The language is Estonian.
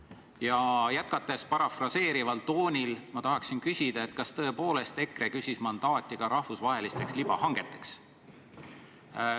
Ja jätkates parafraseerival toonil, ma tahaksin küsida, kas tõepoolest EKRE küsis mandaati ka rahvusvahelisteks libahangeteks.